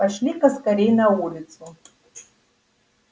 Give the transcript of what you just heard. пошли-ка скорей на улицу